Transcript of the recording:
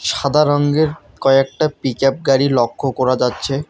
সাদা রঙ্গের কয়েকটা পিজাভ গাড়ি লক্ষ্য করা যাচ্ছে।